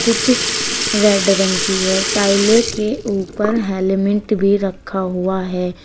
कुछ रेड रंग की है टाइले के ऊपर हेलमेट भी रखा हुआ है।